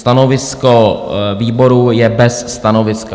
Stanovisko výboru je bez stanoviska.